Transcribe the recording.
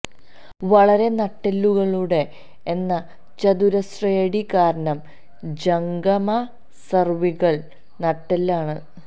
വളരെ നട്ടെല്ലുകളുടെ എന്ന ചതുരശ്രയടി കാരണം ജംഗമ സെർവിക്കൽ നട്ടെല്ല് ആണ്